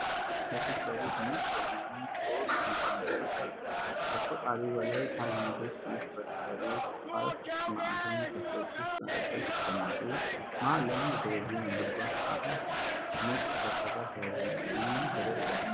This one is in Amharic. አንድ ባር ከፊት ለፊቱ ነጭ የሆኑ ሶስት መቀመጫዎች አሉት። ከቆጣሪው በላይ ካቢኔቶች ውስጥ በተሰሩ ባለ ስድስት ማዕዘን ክፍሎች ውስጥ መጠጦች ሲቀመጡ፣ መሃል ላይ አንድ ቴሌቪዥን የእግር ኳስ ጨዋታ ያሳያል። ነጭ ሰው ሰራሽ አበባዎችም ተደርገዋል።